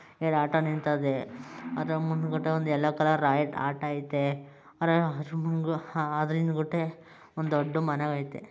ಎರಡು ಆಟೋ ನಿಂತದೇ ಅದರ ಮುಂದ್ ಗುಟೆ ಒಂದು ಎಲ್ಲೋ ಕಲರ್ ಆಟೋ ಐತೆ ಅದರ ಜುಂಗು ಅದ್ರ ಹಿಂದ್ ಗುಟೆ ಒಂದು ದೊಡ್ಡ್ ಮನೆ ಐತೆ.